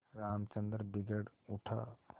रामचंद्र बिगड़ उठा